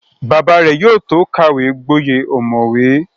Bàbá rẹ̀ yóò tó kàwé gboyè ọ̀mọ̀wé